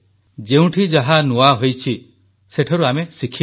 ଯେଉଁଠି ଯାହା ନୂଆ ହୋଇଛି ସେଠାରୁ ଆମେ ଶିଖିବା